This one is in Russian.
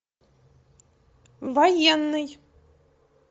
военный